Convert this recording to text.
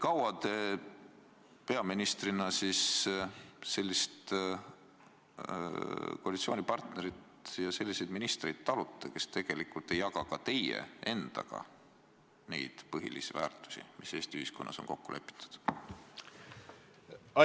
Kaua te peaministrina talute sellist koalitsioonipartnerit ja selliseid ministreid, kes tegelikult ei jaga ka teie endaga neid põhilisi väärtushinnanguid, mis Eesti ühiskonnas on kokku lepitud?